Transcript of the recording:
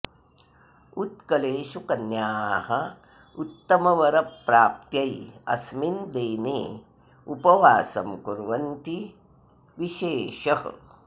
उत्कलेषु कन्याः उत्तमवरप्राप्त्यै अस्मिन् देने उपवासं कुर्वन्ति इति विशेषः